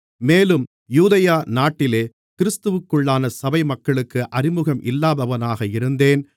மேலும் யூதேயா நாட்டிலே கிறிஸ்துவிற்குள்ளான சபைமக்களுக்கு அறிமுகம் இல்லாதவனாக இருந்தேன்